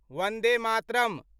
Vande Mataram